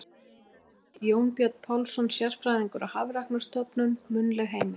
Heimild: Jónbjörn Pálsson, sérfræðingur á Hafrannsóknarstofnun- munnleg heimild.